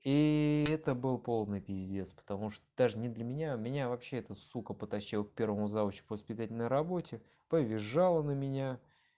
и это был полный пиздец потому что даже не для меня а меня вообще эта сука потащил к первому завуч по воспитательной работе повизжала на меня